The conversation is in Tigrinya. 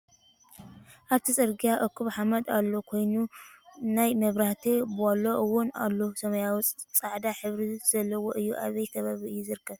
ኣብቲ ፅርግያ እኩብ ሓመድ ዘሎ ኮይኑ ናይ ምብራህቲ ቦሎ እውን ኣሎ ሰማያዊን ፃዕዳ ሕብሪ ዘለዎ እዮ። ኣበይ ከባቢ እዩ ዝርከብ?